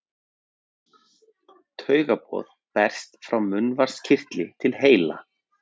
Taugaboð berst frá munnvatnskirtli til heila.